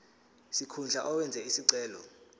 sikhundla owenze isicelo